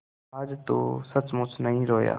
आज तो सचमुच नहीं रोया